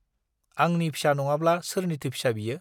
आंनि फिसा नङाब्ला सोरनिथो फिसा बियो?